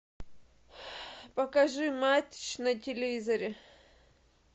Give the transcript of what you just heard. покажи матч на телевизоре